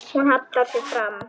Hún hallar sér fram.